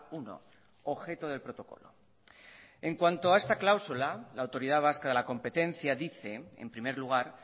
uno objeto del protocolo en cuanto a esta cláusula la autoridad vasca de la competencia dice en primer lugar